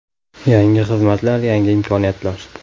Yangi xizmatlar, yangi imkoniyatlar!